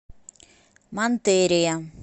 монтерия